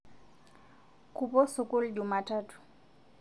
Kupo sukul jumatatu